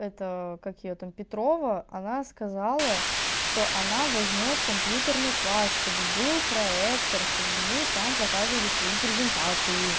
это как её там петрова она сказала что она возьмёт компьютерный класс чтобы был проектор чтобы мы там показывали свои презентации